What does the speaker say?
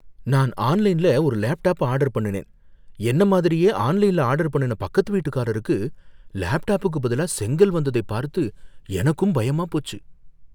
நான் ஆன்லைன்ல ஒரு லேப்டாப் ஆர்டர் பண்ணுனேன், என்ன மாதிரியே ஆன்லைன்ல ஆர்டர் பண்ணுன பக்கத்து வீட்டுக்காரருக்கு லேப்டாப்புக்கு பதிலா செங்கல் வந்ததை பார்த்து எனக்கும் பயமா போச்சு.